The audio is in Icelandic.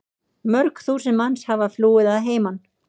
Mörg þúsund manns hafa flúið að heiman.